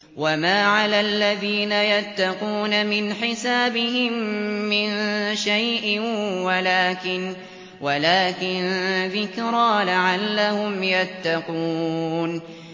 وَمَا عَلَى الَّذِينَ يَتَّقُونَ مِنْ حِسَابِهِم مِّن شَيْءٍ وَلَٰكِن ذِكْرَىٰ لَعَلَّهُمْ يَتَّقُونَ